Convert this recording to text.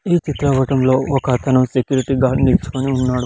ఈ చిత్ర పటములో ఒక అతను సెక్యూరిటీ గార్డు నిలుచుకొని ఉన్నాడు.